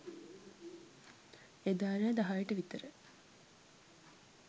එදා රෑ දහයට විතර